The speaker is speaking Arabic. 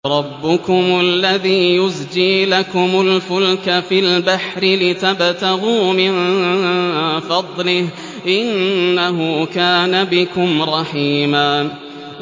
رَّبُّكُمُ الَّذِي يُزْجِي لَكُمُ الْفُلْكَ فِي الْبَحْرِ لِتَبْتَغُوا مِن فَضْلِهِ ۚ إِنَّهُ كَانَ بِكُمْ رَحِيمًا